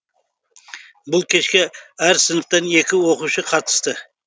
бұл кешке әр сыныптан екі оқушы қатысты